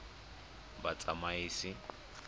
batsamaisi